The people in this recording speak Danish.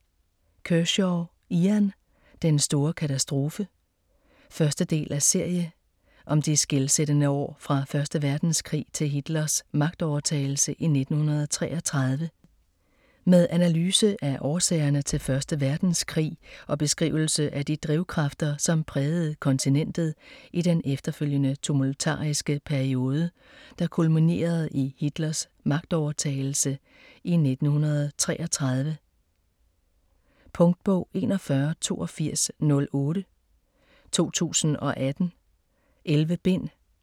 Kershaw, Ian: Den store katastrofe 1. del af serie. Om de skelsættende år fra 1. verdenskrig til Hitlers magtovertagelse i 1933. Med analyse af årsagerne til 1. verdenskrig, og beskrivelse af de drivkræfter, som prægede kontinentet i den efterfølgende tumultariske periode, der kulminerede i Hitlers magtovertagelse i 1933. Punktbog 418208 2018. 11 bind.